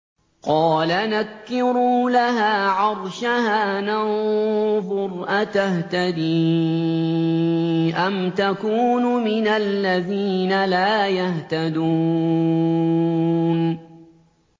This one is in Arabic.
قَالَ نَكِّرُوا لَهَا عَرْشَهَا نَنظُرْ أَتَهْتَدِي أَمْ تَكُونُ مِنَ الَّذِينَ لَا يَهْتَدُونَ